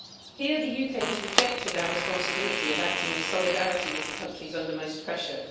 Here the UK has rejected our responsibility of acting in solidarity with the countries under most pressure.